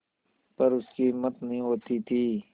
पर उसकी हिम्मत नहीं होती थी